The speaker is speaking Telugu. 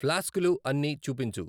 ఫ్లాస్కులు అన్నీ చూపించు